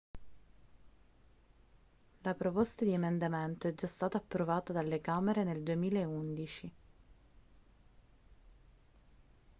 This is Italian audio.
la proposta di emendamento è già stata approvata dalle camere nel 2011